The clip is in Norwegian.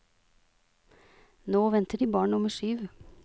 Nå venter de barn nummer syv.